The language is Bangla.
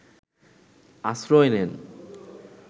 আশ্রয় নেন